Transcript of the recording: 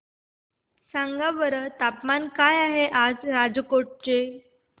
सांगा बरं तापमान काय आहे राजकोट चे